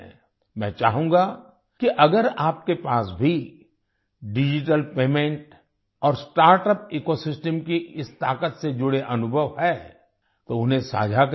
मैं चाहूँगा कि अगर आपके पास भी डिजिटल पेमेंट और स्टार्टअप इकोसिस्टम की इस ताकत से जुड़े अनुभव हैं तो उन्हें साझा करिए